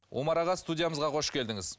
омар аға студиямызға қош келдіңіз